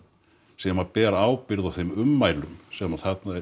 sem ber ábyrgð á þeim ummælum sem